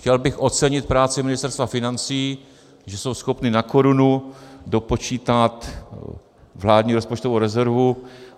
Chtěl bych ocenit práci Ministerstva financí, že jsou schopni na korunu dopočítat vládní rozpočtovou rezervu.